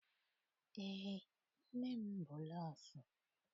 Eé, nne m bụ nọọsụ.